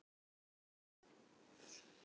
Snjólfur, hvaða stoppistöð er næst mér?